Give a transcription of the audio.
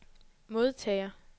modtager